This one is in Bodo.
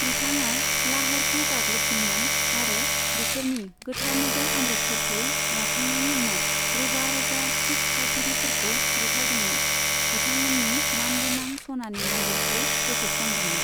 बिथाङा लाहौरखौ गाग्लोबदोंमोन आरो बिसोरनि गोथार नोगोर अमृतसरखौ लाखांनायनि उनाव रोजा रोजा सिख थागिरिफोरखौ बुथारदोंमोन, बिथांमोन्नि मानगोनां सनानि मन्दिरखौ फोजोबस्रांदोंमोन।